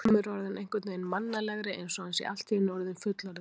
Orðið endurreisn er haft um það tímabil í mannkynssögunni sem tekur við af miðöldum.